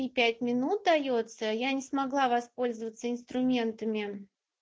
и пять минут даётся я не смогла воспользоваться инструментами